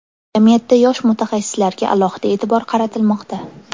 Jamiyatda yosh mutaxassislarga alohida e’tibor qaratilmoqda.